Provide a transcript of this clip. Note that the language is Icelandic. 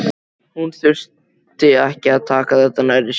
Hún þurfi ekki að taka þetta nærri sér.